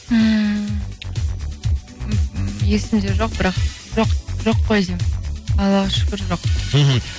ммм есімде жоқ бірақ жоқ жоқ қой деймін аллаға шүкір жоқ мхм